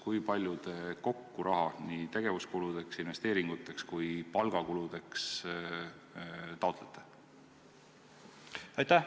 Kui palju te kokku raha nii tegevuskuludeks, investeeringuteks kui ka palgakuludeks taotlete?